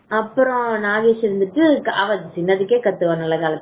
அப்புறம் நாகேஷ் இருந்துட்டு அவன் சின்னதுக்கே கத்துவா அவ நல்ல காலத்திலேயே